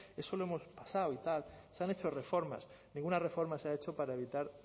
eso lo hemos pasado y tal se han hecho reformas ninguna reforma se ha hecho para evitar